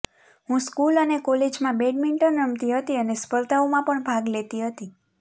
હું સ્કૂલ અને કોલેજમાં બેડમિન્ટન રમતી હતી અને સ્પર્ધાઓમાં પણ ભાગ લેતી હતી